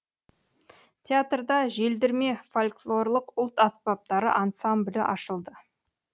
театрда желдірме фольклорлық ұлт аспаптары ансамблі ашылды